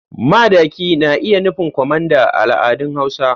Madaki na iya nufin kwamanda a al'adun hausa.